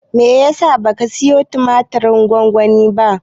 Menene yasa baka siyo tumatirin gwamgwanin ba?